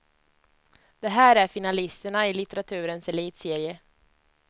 Här är finalisterna i litteraturens elitserie.